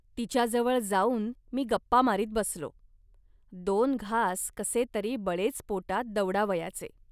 तिच्याजवळ जाऊन मी गप्पा मारीत बसलो. दोन घास कसेतरी बळेच पोटात दवडावयाचे